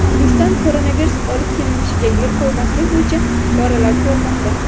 O‘zbekiston koronavirus olib kelinishiga yo‘l qo‘ymaslik bo‘yicha choralar ko‘rmoqda.